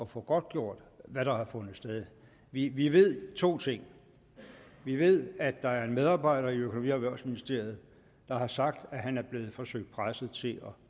få godtgjort hvad der har fundet sted vi vi ved to ting vi ved at der er en medarbejder i økonomi og erhvervsministeriet der har sagt at han er blevet forsøgt presset til at